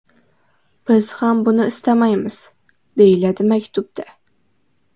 Biz ham buni istamaymiz”, − deyiladi maktubda.